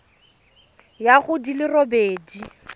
ya go di le robedi